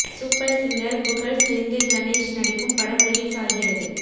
super singer புகழ் செந்தில் கணேஷ் நடிக்கும் படம் ரிலீஸ் ஆகிறது